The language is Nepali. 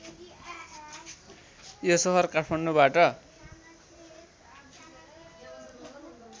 यो सहर काठमाडौँबाट